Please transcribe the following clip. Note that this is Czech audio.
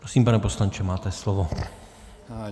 Prosím, pane poslanče, máte slovo.